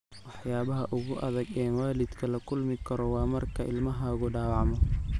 Waxyaabaha ugu adag ee waalidku la kulmi karo waa marka ilmahaagu dhaawacmo.